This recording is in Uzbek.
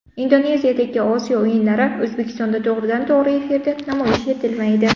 Indoneziyadagi Osiyo o‘yinlari O‘zbekistonda to‘g‘ridan to‘g‘ri efirda namoyish etilmaydi.